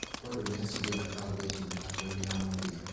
Maroochydore nĩacindire Caboolture mĩthakoinĩ ya muthia